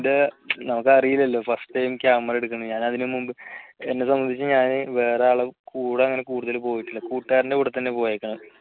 നമുക്ക് അറിയില്ലല്ലോ first time camera എടുക്കുന്നെ. ഞാൻ അതിനു മുന്നേ എന്നെ സംബന്ധിച്ച് ഞാന് വേറെ ആളുടെ കൂടെ അങ്ങനെ കൂടുതല് പോയിട്ടില്ല കൂട്ടുകാരൻറെ കൂടെ തന്നെ പോയേക്കണ്